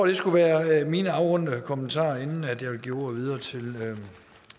det skal være mine afrundende kommentarer inden jeg vil give ordet videre til